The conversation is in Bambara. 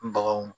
Baganw